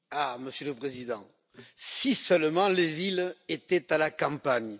Monsieur le Président, si seulement les villes étaient à la campagne!